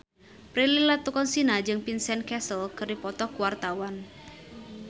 Prilly Latuconsina jeung Vincent Cassel keur dipoto ku wartawan